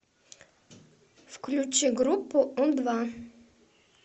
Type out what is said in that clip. включи группу у два